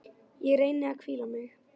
Ég reyni að hvíla mig.